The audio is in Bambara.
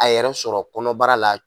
A yɛrɛ sɔrɔ kɔnɔbara la